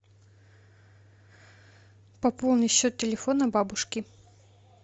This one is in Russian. пополни счет телефона бабушки